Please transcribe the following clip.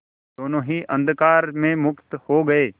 दोेनों ही अंधकार में मुक्त हो गए